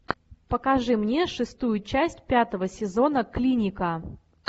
покажи мне шестую часть пятого сезона клиника